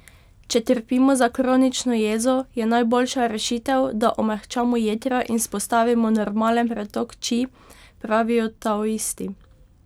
Če trpimo za kronično jezo, je najboljša rešitev, da omehčamo jetra in vzpostavimo normalen pretok či, pravijo taoisti.